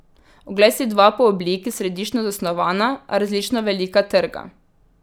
Oglej si dva po obliki središčno zasnovana, a različno velika trga.